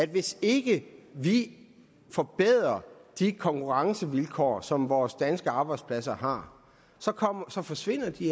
hvis ikke vi forbedrer de konkurrencevilkår som vores danske arbejdspladser har så forsvinder de